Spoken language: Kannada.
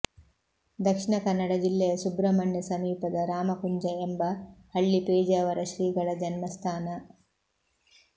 ದಕ್ಷಿಣ ಕನ್ನಡ ಜಿಲ್ಲೆಯ ಸುಬ್ರಹ್ಮಣ್ಯ ಸಮೀಪದ ರಾಮಕುಂಜ ಎಂಬ ಹಳ್ಳಿ ಪೇಜಾವರ ಶ್ರೀಗಳ ಜನ್ಮಸ್ಥಾನ